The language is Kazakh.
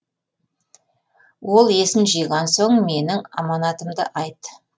ол есін жиған соң менің аманатымды айт